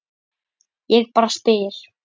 Ég bara spyr?